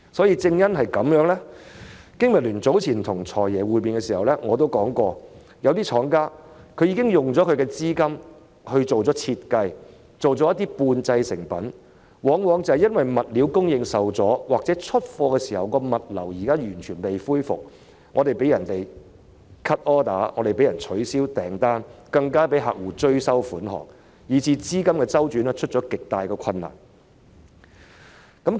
有見及此，經民聯早前與"財爺"會面時亦曾指出，有些廠家已經斥資進行設計、生產了一些半製成品，但卻因為物料供應受阻或出貨時物流尚未完全恢復而被客戶 cut order、取消訂單，甚至被追收款項，以致資金周轉出現極大困難。